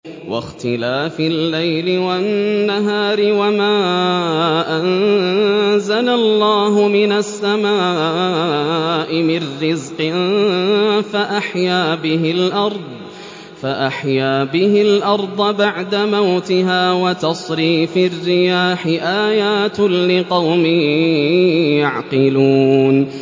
وَاخْتِلَافِ اللَّيْلِ وَالنَّهَارِ وَمَا أَنزَلَ اللَّهُ مِنَ السَّمَاءِ مِن رِّزْقٍ فَأَحْيَا بِهِ الْأَرْضَ بَعْدَ مَوْتِهَا وَتَصْرِيفِ الرِّيَاحِ آيَاتٌ لِّقَوْمٍ يَعْقِلُونَ